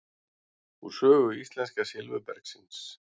Úr sögu íslenska silfurbergsins.